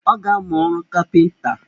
Ọ ga-amụ ọrụ kapinta